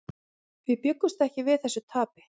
Við bjuggumst ekki við þessu tapi.